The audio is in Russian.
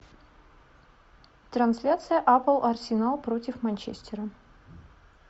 трансляция апл арсенал против манчестера